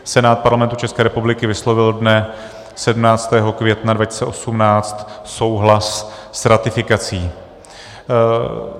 Senát Parlamentu České republiky vyslovil dne 17. května 2018 souhlas s ratifikací.